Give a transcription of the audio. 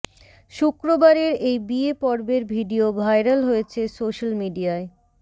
শুক্রবারের এই বিয়ে পর্বের ভিডিও ভাইরাল হয়েছে সোশ্যাল মিডিয়ায়